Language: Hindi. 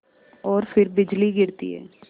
और फिर बिजली गिरती है